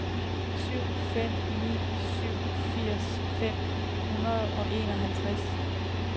syv fem ni syv firs fem hundrede og enoghalvtreds